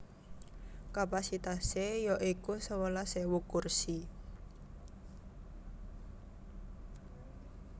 Kapasitasé ya iku sewelas ewu kursi